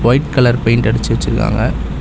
White colour paint அடிச்சு வச்சிருக்காங்க.